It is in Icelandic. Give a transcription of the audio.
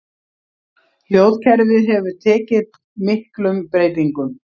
Hljóðkerfið hefur tekið miklum breytingum.